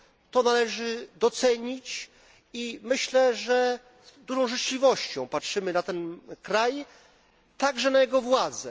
To należy docenić. Myślę, że z dużą życzliwością patrzymy na ten kraj, także na jego władze.